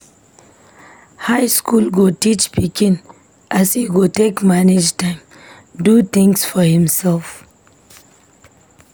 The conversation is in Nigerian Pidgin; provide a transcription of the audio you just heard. High school go teach pikin as e go take manage time, do things for himself.